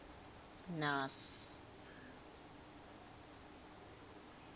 naas